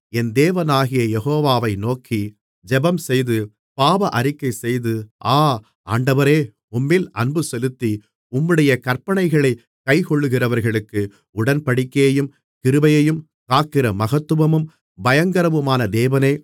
என் தேவனாகிய யெகோவாவை நோக்கி ஜெபம்செய்து பாவ அறிக்கைசெய்து ஆ ஆண்டவரே உம்மில் அன்புசெலுத்தி உம்முடைய கற்பனைகளைக் கைக்கொள்ளுகிறவர்களுக்கு உடன்படிக்கையையும் கிருபையையும் காக்கிற மகத்துவமும் பயங்கரமுமான தேவனே